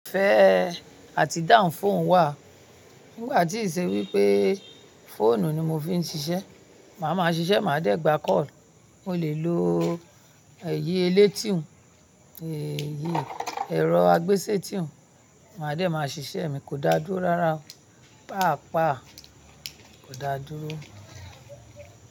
Fẹ́ àti down phone wà. Nígbà tí ì ṣe wípé phone ni mo fi ń ṣiṣẹ́, màá ma ṣiṣẹ́, màá dé gba call, mo lè lo èyí elétì òún, èyí ẹ̀rọ agbésétí òún, màá dé máa ṣiṣẹ́ mi kò dá dúró rárá, pàápàá kò dá dúró.